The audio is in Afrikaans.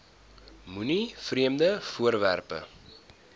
moenie vreemde voorwerpe